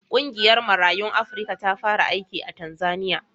Ƙungiyar Marayun Afrika ta fara aiki a Tanzaniya.